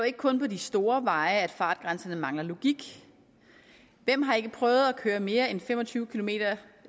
ikke kun på de store veje at fartgrænserne mangler logik hvem har ikke prøvet at køre mere end fem og tyve kilometer